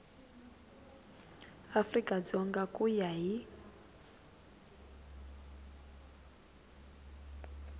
afrika dzonga ku ya hi